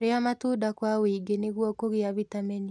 rĩa matunda kwa wũingĩ nĩguo kũgia vitamini